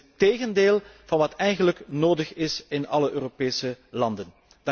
Dit is het tegendeel van wat eigenlijk nodig is in alle Europese landen.